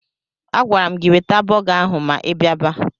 Agwara m gị weta bọga ahụ ma ị biaba!